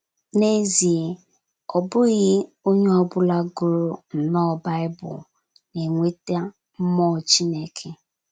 N’ezie, ọ bụghị onye ọ bụla gụrụ nnọọ Baịbụl na - enweta mmụọ Chineke.